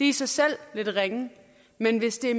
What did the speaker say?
i sig selv lidt ringe men hvis det